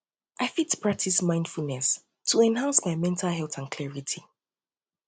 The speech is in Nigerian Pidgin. i fit practice mindfulness to enhance my mental health and clarity